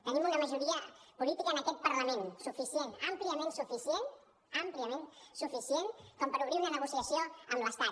tenim una majoria política en aquest parlament suficient àmpliament suficient àmpliament suficient com per obrir una negociació amb l’estat